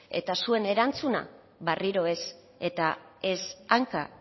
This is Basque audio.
eta zuen erantzuna berriro ez eta ez hanka